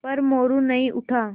पर मोरू नहीं उठा